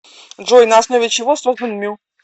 джой на основе чего создан мю